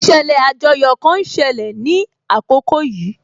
Ìṣẹ̀lẹ̀ àjoyò kan ń ṣẹlẹ̀ ní àkókò yìí